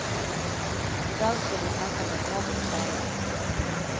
I dag skal vi snakke med små bokstaver.